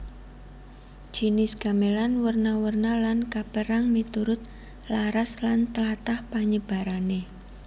Jinis gamelan werna werna lan kapérang miturut laras lan tlatah panyebarané